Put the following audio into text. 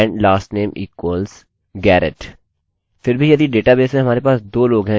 अतः सर्वश्रेष्ठ होगा कि अपना यूनिक इस्तेमाल करें और वह मुख्यश्ब्द unique id है जो मेरे लिए 6 है